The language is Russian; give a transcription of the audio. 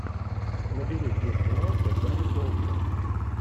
набери где снимался гари олдман